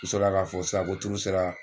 U sɔrɔ la k'a fɔ sisan ko sera